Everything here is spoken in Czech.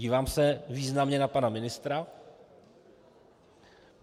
Dívám se významně na pana ministra.